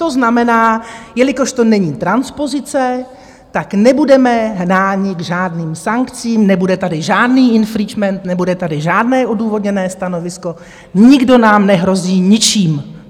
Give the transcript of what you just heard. To znamená, jelikož to není transpozice, tak nebudeme hnáni k žádným sankcím, nebude tady žádný infringement, nebude tady žádné odůvodněné stanovisko, nikdo nám nehrozí ničím.